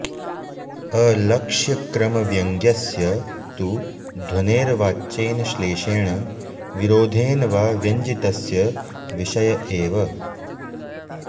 अलक्ष्यक्रमव्यङ्ग्यस्य तु ध्वनेर्वाच्येन श्लेषेण विरोधेन वा व्यञ्जितस्य विषय एव